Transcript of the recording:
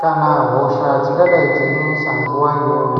kana hosha dzingadai dzeinesa nguwa iyoyo.